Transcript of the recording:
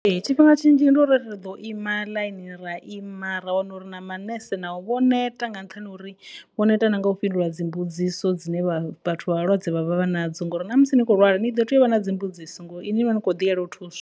Tshifhinga tshinzhi ndi u ri ḓo ima ḽaini ra ima ra wana uri na manese na u vho neta nga nṱhani ha uri vho neta na nga u fhindula mbudziso dzine vha vhathu vha vhalwadze vhavha vha nadzo ngori na musi ni kho lwala ni ḓo tea u vha na dzimbudziso ngo ini ni vha ni kho ḓiyela u thuswa.